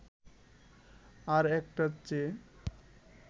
আর একটার চেয়ে